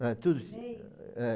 chinês? É.